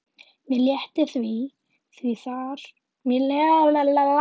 Mér létti því þar gat pabbi ekki séð hana.